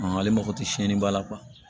Ale mako tɛ siɲɛniba la